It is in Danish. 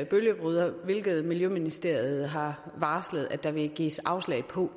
en bølgebryder hvilket miljøministeriet har varslet at der vil blive givet afslag på